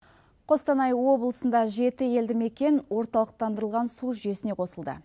қостанай облысында жеті елді мекен орталықтандырылған су жүйесіне қосылды